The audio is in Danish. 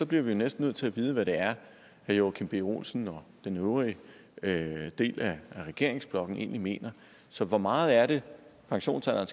bliver vi næsten nødt til at vide hvad det er herre joachim b olsen og den øvrige øvrige del af regeringsblokken egentlig mener så hvor meget er det pensionsalderen